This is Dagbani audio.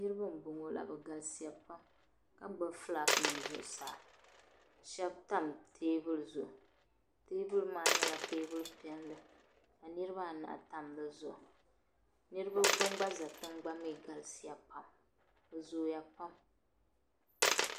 Niriba n boŋɔ la bi galisiya pam ka gbubi "Flag" nima zuɣusaa shebi tam teebuli zuɣu teebuli maa nyɛla teebuli piɛlli ka niriba anahi tam di zuɣu niriba bin' gba za tiŋa gba mi galisiya pam bi zooya pam.